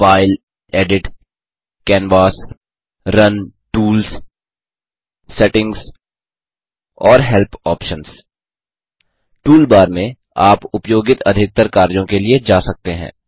file edit canvas run tools settings और helpऑप्शन्स toolbar में आप उपयोगित अधिकतर कार्यों के लिए जा सकते हैं